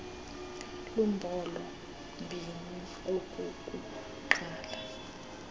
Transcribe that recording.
lumbolo mbini okokuqala